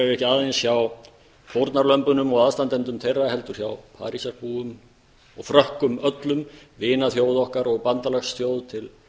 ekki aðeins hjá fórnarlömbunum og aðstandendum þeirra heldur líka hjá parísarbúum og frökkum öllum vinaþjóð okkar og bandalagsþjóð til